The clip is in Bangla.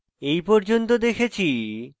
এই পর্যন্ত দেখেছি